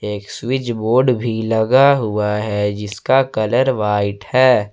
एक switch board भी लगा हुआ है जिसका कलर व्हाइट है।